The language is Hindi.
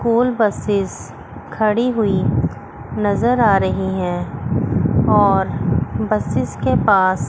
स्कूल बसेस खड़ी हुई नजर आ रही है और बसेस के पास--